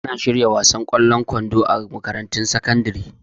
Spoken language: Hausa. Ana shirya gasar wasan ƙwallon kwando a makarantun sakandare